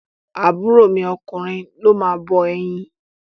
Àbúrọ̀ mi ọkùnrin ló máa bọ ẹyin.